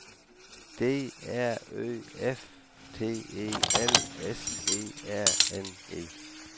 D R Ø F T E L S E R N E